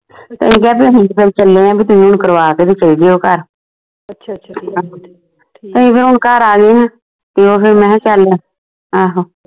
ਅਸੀਂ ਕਿਹਾ ਬੀ ਅਸੀਂ ਤਾਂ ਹੁਣ ਚੱਲੇ ਆ ਵੀ ਤੁਸੀਂ ਹੁਣ ਕਰਵਾ ਕੇ ਤੇ ਚੱਲ ਜੀਓ ਘਰ ਅਸੀਂ ਹੁਣ ਫਿਰ ਘਰ ਆ ਗਏ ਹੈਂ ਤੇ ਓਹੀ ਮੈਂ ਕਿਹਾ ਚੱਲ ਆਹੋ